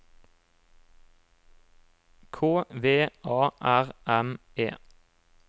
K V A R M E